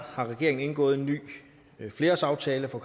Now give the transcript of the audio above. har regeringen indgået en ny flerårsaftale for